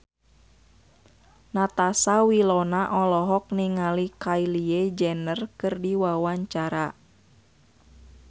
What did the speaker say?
Natasha Wilona olohok ningali Kylie Jenner keur diwawancara